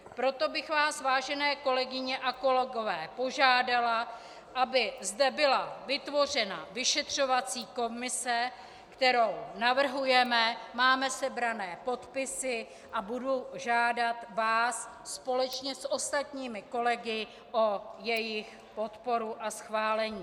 Proto bych vás, vážené kolegyně a kolegové, požádala, aby zde byla vytvořena vyšetřovací komise, kterou navrhujeme, máme sebrané podpisy, a budu vás žádat společně s ostatními kolegy o jejich podporu a schválení.